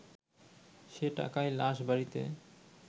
সে টাকায় লাশ বাড়িতে